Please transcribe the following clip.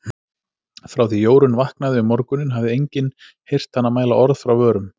Frá því Jórunn vaknaði um morguninn hafði enginn heyrt hana mæla orð frá vörum.